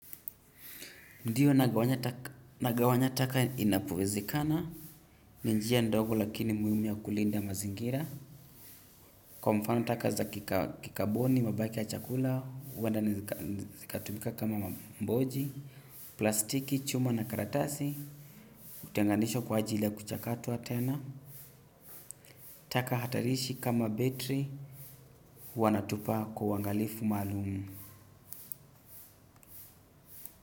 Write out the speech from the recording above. Ndio nagawanya taka inapowezekana ni njia ndogo lakini muhimu ya kulinda mazingira kwa mfano taka za kikaboni mabaki ya chakula huenda zikatumika kama mamboji plastiki chuma na karatasi hutenganishwa kwa ajili ya kuchakatwa tena. Taka hatarishi kama betri, huwa natupa kwa uangalifu maalumu.